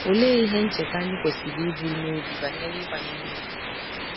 Olee ihe ncheta anyị kwesịrị iburu n’obi banyere ịkwanyere ùgwù?